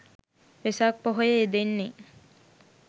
වෙසක් පොහොය යෙදෙන්නේ